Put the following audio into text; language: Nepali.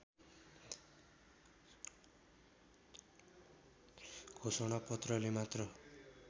घोषणापत्रले मात्र